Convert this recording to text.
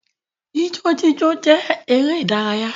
Ijó jíjó jẹ́ eré ìdárayá